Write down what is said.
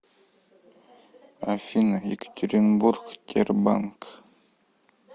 афина екатеринбург тербанк